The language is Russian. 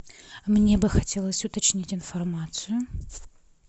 мне бы хотелось уточнить информацию